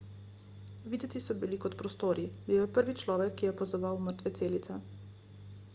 videti so bili kot prostori bil je prvi človek ki je opazoval mrtve celice